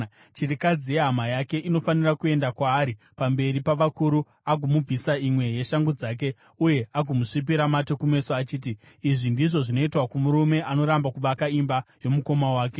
chirikadzi yehama yake inofanira kuenda kwaari pamberi pavakuru, agomubvisa imwe yeshangu dzake, uye agomusvipira mate kumeso achiti, “Izvi ndizvo zvinoitwa kumurume anoramba kuvaka imba yomukoma wake.”